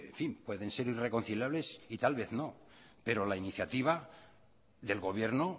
pueden ser irreconciliables y tal vez no pero la iniciativa del gobierno